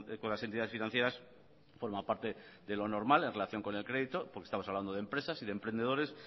con las entidades financieras forma parte de lo normal en relación con el crédito porque estamos hablando de empresas y de emprendedores